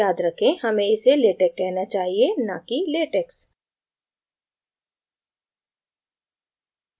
याद रखें हमे इसे latex कहना चाहिए न कि latex